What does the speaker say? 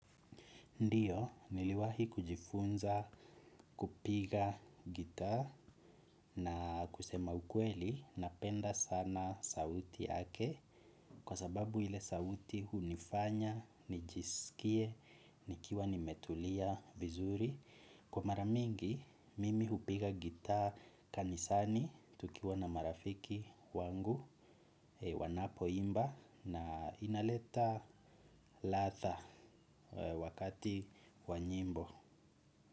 Ndiyo, niliwahi kujifunza kupiga gitaa na kusema ukweli napenda sana sauti yake kwa sababu ile sauti hunifanya nijiskie nikiwa nimetulia vizuri. Kwa mara mingi mimi hupiga gitaa kanisani tukiwa na marafiki wangu wanapoimba na inaleta ladha wakati wa nyimbo.